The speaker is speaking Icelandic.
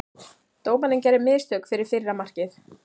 Dómarinn gerði mistök fyrir fyrra markið.